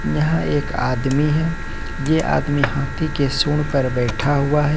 यहां एक आदमी है ये आदमी हाथी के सूंड पर बैठा हुआ है।